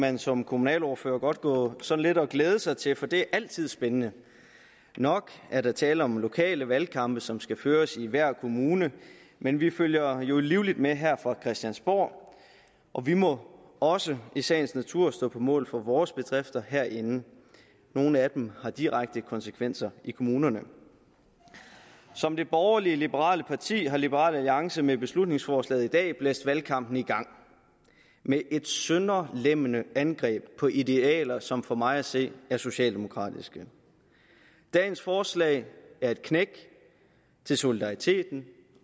man som kommunalordfører godt gå sådan lidt og glæde sig til for det er altid spændende nok er der tale om lokale valgkampe som skal føres i hver kommune men vi følger jo livligt med her fra christiansborg og vi må også i sagens natur stå på mål for vores bedrifter herinde nogle af dem har direkte konsekvenser i kommunerne som det borgerlig liberale parti det er har liberal alliance med beslutningsforslaget i dag blæst valgkampen i gang med et sønderlemmende angreb på idealer som for mig at se er socialdemokratiske dagens forslag er et knæk til solidariteten